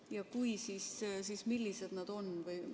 Ja kui, siis millised nad on?